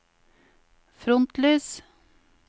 frontlys